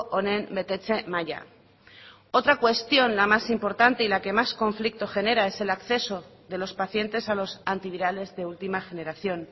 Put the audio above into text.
honen betetze maila otra cuestión la más importante y la que más conflicto genera es el acceso de los pacientes a los antivirales de última generación